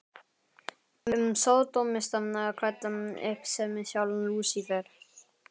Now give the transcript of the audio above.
um sódómista klæddan upp sem sjálfan Lúsífer.